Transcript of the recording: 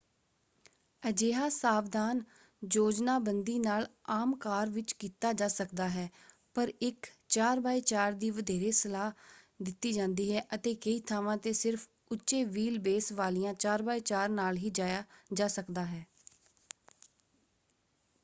ਅਜਿਹਾ ਸਾਵਧਾਨ ਯੋਜਨਾਬੰਦੀ ਨਾਲ ਆਮ ਕਾਰ ਵਿੱਚ ਕੀਤਾ ਜਾ ਸਕਦਾ ਹੈ ਪਰ ਇੱਕ 4x4 ਦੀ ਵਧੇਰੇ ਸਲਾਹ ਦਿੱਤੀ ਜਾਂਦੀ ਹੈ ਅਤੇ ਕਈ ਥਾਵਾਂ ‘ਤੇ ਸਿਰਫ਼ ਉੱਚੇ ਵ੍ਹੀਲ ਬੇਸ ਵਾਲੀਆਂ 4x4 ਨਾਲ ਹੀ ਜਾਇਆ ਜਾ ਸਕਦਾ ਹੈ।